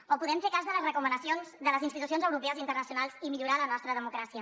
o podem fer cas de les recomanacions de les institucions europees i internacionals i millorar la nostra de mocràcia